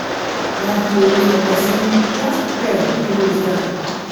life no dey wait for pesin you ghas prepare make you no loose guard